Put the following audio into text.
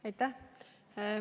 Aitäh!